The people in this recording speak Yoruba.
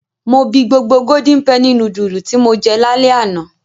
Mo bi gbogbo Golden penny núdúlù tí mo jẹ lálẹ́ àná.